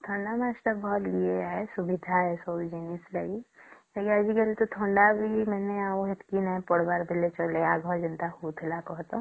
ଥଣ୍ଡା ମାସ ଟା ଭଲ ସବୁ ସୁବିଧା ଏ ସବୁ ଜିନିଷ ଲାଗି ଆଜି କଲି ତ ଥଣ୍ଡା ବି ସେତକୀ ନାଇଁ ପଡ଼ିବାର ବୋଲେ ଚାଲେ ଆଗରୁ ଯେତକି ହଉଥିଲା ବେଳେ କହ ଟା